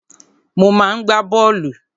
Mo máa ń gbá bọ́ọ̀lù.